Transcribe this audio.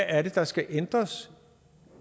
er der skal ændres